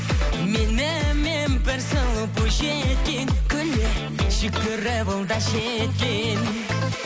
менімен бір сұлу бойжеткен күле жүгіріп ол да жеткен